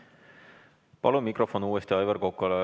Palun mikrofon uuesti Aivar Kokale.